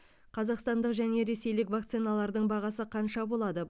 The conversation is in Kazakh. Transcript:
қазақстандық және ресейлік вакциналардың бағасы қанша болады